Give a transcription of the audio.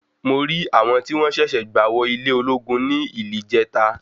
Mo rí àwọn tí wọ́n ṣẹ̀ṣẹ̀ gba wò ilé ológun ní ílìjẹ́ta.